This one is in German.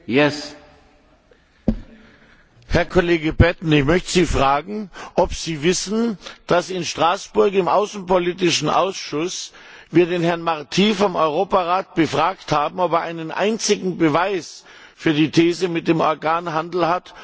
Herr Kollege Batten, ich möchte Sie fragen, ob Sie wissen, dass in Straßburg im außenpolitischen Ausschuss wir den Herrn Marty vom Europarat befragt haben, ob er einen einzigen Beweis für die These mit dem Organhandel hat, und er konnte keinen einzigen vorlegen.